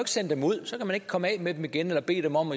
sende dem ud så kan man ikke komme af med dem igen eller bede dem om